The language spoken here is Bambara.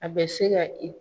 A bɛ se ka i